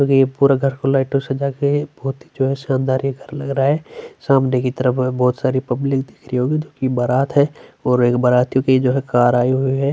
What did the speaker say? और ये पूरा घर को लाइट सजा के बहोत ही जो है शानदार ये घर लग रहा है सामने की तरफ बहोत सारी पब्लिक दिख रही है जो की बारात है और एक बाराती की जो है कार आयी हुई है।--